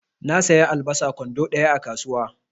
Na saya albasa kwando ɗaya a kasuwa.